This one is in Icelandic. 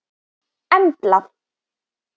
Embla